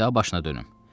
Dedi başına dönüm.